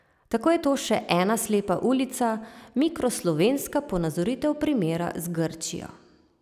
Tako je to še ena slepa ulica, mikro slovenska ponazoritev primera z Grčijo.